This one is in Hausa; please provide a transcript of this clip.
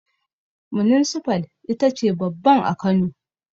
Muninsifal ita ce babban a Kano